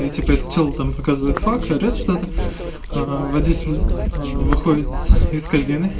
и типа этот чел там показывает фак орет что-то аа водитель аа выходит из кабины